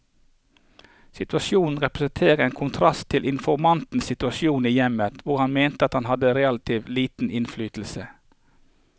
Situasjonen representerte en kontrast til informantens situasjon i hjemmet, hvor han mente at han hadde relativt liten innflytelse.